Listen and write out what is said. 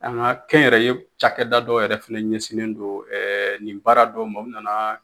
An ka kɛnyɛrɛye cakɛda dɔw yɛrɛ fɛnɛ ɲɛsin don nin baara dɔ ma ,o nana